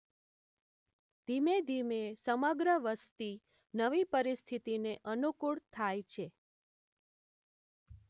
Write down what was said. ધીમે ધીમે સમગ્ર વસતિ નવી પરિસ્થિતિને અનુકૂળ થાય છે.